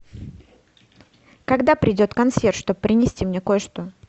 когда придет консьерж чтоб принести мне кое что